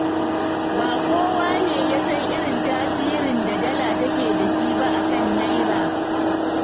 Ba kowa ne ya san irin tasirin da Dala take da shi ba a kan Naira.